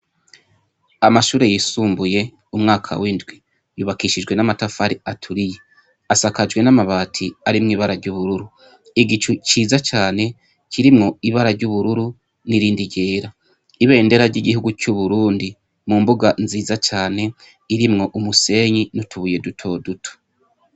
Amashure yisumbuye yumwaka windwi yubakishijwe amatafari aturiye asakajwe namabati arimwibara ryubururu ,igicu ciza cane kirimwo ibara ryubururu ririmwo , Ibendera ryigihugu cu Burundi mumbuga nziza Cane irimwo umusenyi nutubuye duto duto.